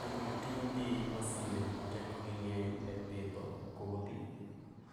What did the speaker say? Jopur tiyo gi masinde ma tekogi ng'eny e pidho kodhi